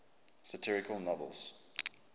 satirical novels